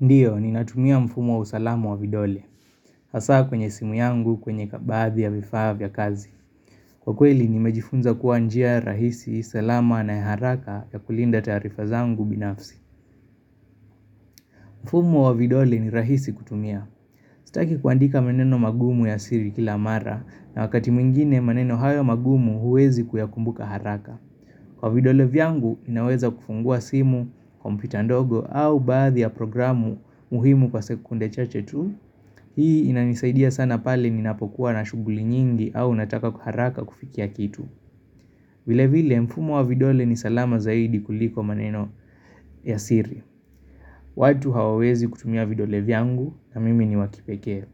Ndio, ninatumia mfumo wa usalamu wa vidole, hasa kwenye simu yangu kwenye kabadhi ya vifaa vya kazi. Kwa kweli, nimejifunza kuwa njia rahisi, salama na ya haraka ya kulinda tarifa zangu binafsi. Mfumo wa vidole ni rahisi kutumia. Sitaki kuandika maneno magumu ya siri kila mara, na wakati mwingine maneno hayo magumu huwezi kuyakumbuka haraka. Kwa vidole vyangu, inaweza kufungua simu, kompyuta ndogo au baadhi ya programu muhimu kwa sekunde chache tu. Hii inanisaidia sana pale ninapokuwa na shughuli nyingi au nataka kwa haraka kufikia kitu vile vile mfumo wa vidole ni salama zaidi kuliko maneno ya siri watu hawawezi kutumia vidole vyangu na mimi ni wakipekee